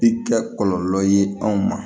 I kɛ kɔlɔlɔ ye anw ma